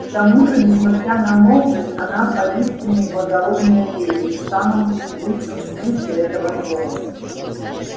к тому же несмотря на молодость она поистине благородная леди в самом лучшем смысле этого слова